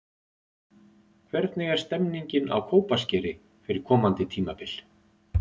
Hvernig er stemmingin á Kópaskeri fyrir komandi tímabil?